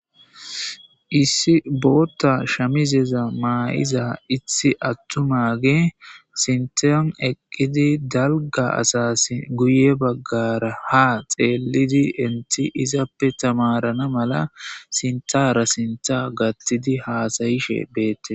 Issi bootta shamizeza maa7iza ithi attumage sinten eqqidi dalga asasi guye baggara ha xeelidi inti izappe tamarana mala sintara sinta gattidi haasayishe beette